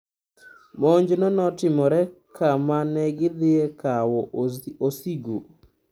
Monjno notimore kama nigidhie kawo osigo.